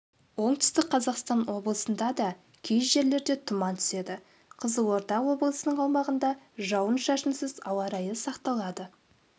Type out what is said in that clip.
оңтүстік қазақстан облысында да кей жерлерде тұман түседі қызылорда облысының аумағында жауын-шашынсыз ауа райы сақталады